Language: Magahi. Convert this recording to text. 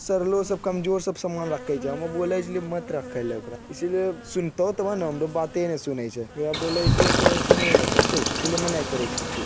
सरलो सब कमजोर सामान सब रखे छै हमु बोले छिये मत रखे ले ओकरा इसीलिए सुनतो तभे ने हमरो बाते ने सुने छै ओकरा बोले छिये ते सुनबे ने करतो इसीलिए हम ने करे छिये कुछू।